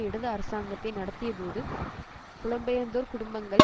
இடது அரசாங்கத்தை நடத்தியபோது புலம்பெயர்ந்தோர் குடும்பங்கள்